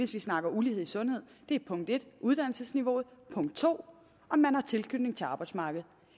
hvis vi snakker om ulighed i sundhed er punkt en uddannelsesniveauet og punkt to om man har tilknytning til arbejdsmarkedet